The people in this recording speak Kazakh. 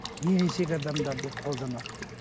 ересек адамдар деп қолданады деп